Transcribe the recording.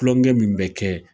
Kulonkɛ min bɛ kɛ.